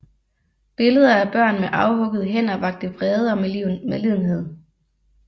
Billeder af børn med afhuggede hænder vakte vrede og medlidenhed